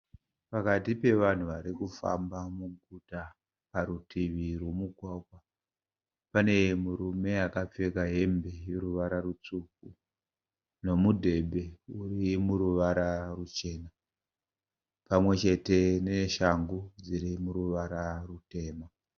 Pakati pevanhu vari kufamba muguta parutivi rwemugwagwae pane murume akapfeka hembe yeruvara rutsvuku nomudhebhe weruvara ruchena pamwe chete neshangu dziri muruvara rutema.